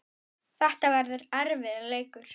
Þetta verður erfiður leikur.